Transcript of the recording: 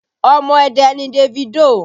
Omo Ẹdẹ ni Davido